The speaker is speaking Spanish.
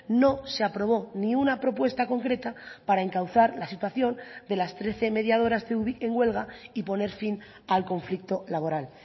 no se aprobó ni una propuesta concreta para encauzar la situación de las trece mediadoras de ubik en huelga y poner fin al conflicto laboral